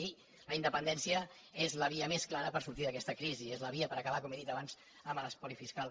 i la independència és la via més clara per sortir d’aquesta crisi és la via per acabar com he dit abans amb l’espoli fiscal